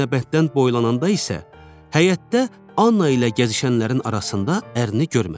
Aynabətdən boylananda isə həyətdə Anna ilə gəzişənlərin arasında ərini görmədi.